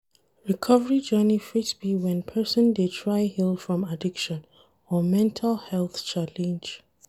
Recovery journey fit be when person dey try heal from addiction or mental health challenge